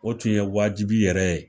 O tun ye wajibi yɛrɛ ye